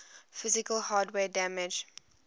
physical hardware damage